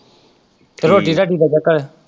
ਤੇ ਰੋਟੀ ਰਾਟੀ ਦਾ ਕਿਦਾਂ?